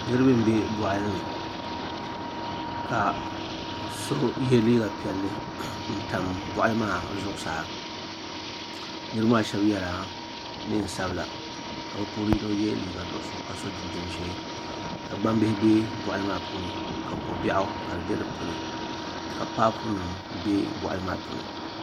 niraba n bɛ boɣali ni ka so yɛ liiga piɛlli n tam boɣali maa zuɣusaa niraba maa shab yɛla neen sabila ka bi puuni yino yɛ liiga nuɣso ka so jinjɛm ʒiɛ ka gbambihi bɛ boɣali maa puuni ka ko biɛɣu ka di bɛ dinni ka paapu nim bɛ boɣali maa puuni